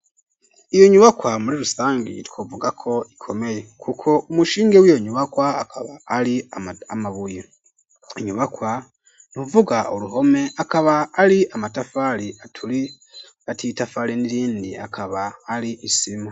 Inyubakwa muri rusangi twovugako ikomeye, kuko umushinge wiyo nyubakwa akaba ari amabuye ,nyubakwa nukuvuga uruhome akaba ari amatafari aturiye, hagati y'itafari n'irindi akaba ar'isima.